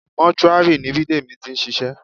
Mọ́túárì ni Bidemi ti ń ṣiṣẹ́